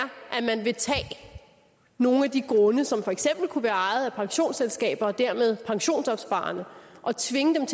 at man vil tage nogle af de grunde som for eksempel kunne være ejet af pensionsselskaber og dermed af pensionsopsparerne og tvinge